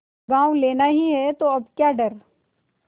गॉँव लेना ही है तो अब क्या डर